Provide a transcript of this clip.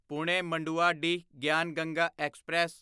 Pune Manduadih Gyan Ganga express